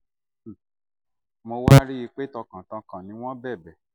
mo wá rí i pé tọkàntọkàn ni wọ́n bẹ̀bẹ̀